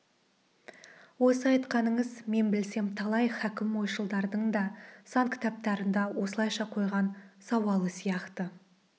осы айтқаныңыз мен білсем талай хакім ойшылдардың да сан кітаптарында осылайша қойған сауалы сияқты